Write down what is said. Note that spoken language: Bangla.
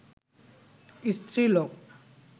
স্ত্রীলোক